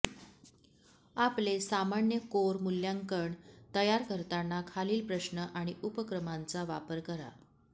आपले सामान्य कोर मूल्यांकन तयार करताना खालील प्रश्न आणि उपक्रमांचा वापर करा